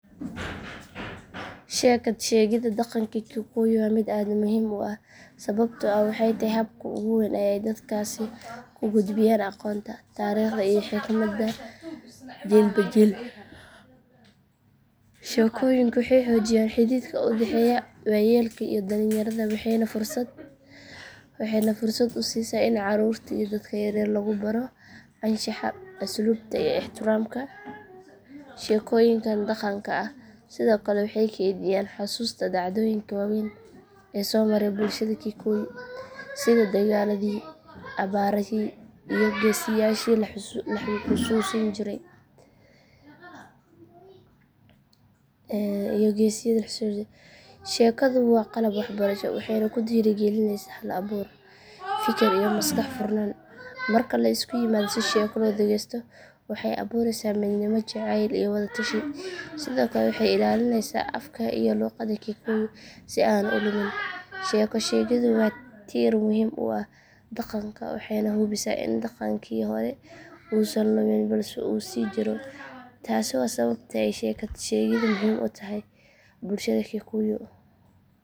Sheekad sheegidda dhaqanka kikuyu waa mid aad muhiim u ah sababtoo ah waxay tahay habka ugu weyn ee ay dadkaasi ku gudbiyaan aqoonta, taariikhda iyo xigmadda jiilba jiil. Sheekooyinku waxay xoojiyaan xidhiidhka u dhexeeya waayeelka iyo dhallinyarada waxayna fursad u siisaa in caruurta iyo dadka yaryar lagu baro anshaxa, asluubta iyo ixtiraamka. Sheekooyinkan dhaqanka ah sidoo kale waxay kaydiyaan xasuusta dhacdooyinka waaweyn ee soo maray bulshada kikuyu, sida dagaalladii, abaaraha iyo geesiyaashii la xusuusan jiray. Sheekadu waa qalab waxbarasho waxayna ku dhiirrigelisaa hal abuur, fikir iyo maskax furnaan. Marka la isu yimaado si sheeko loo dhegeysto waxa ay abuureysaa midnimo, jacayl iyo wada tashi. Sidoo kale waxay ilaalinaysaa afka iyo luqadda kikuyu si aanu u lumin. Sheeko sheegiddu waa tiir muhiim u ah dhaqanka waxayna hubisaa in dhaqankii hore uusan lumin balse uu sii jiro. Taasi waa sababta ay sheekad sheegiddu muhiim u tahay bulshada kikuyu.